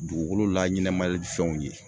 Dugukolo laɲɛnɛmali fɛnw ye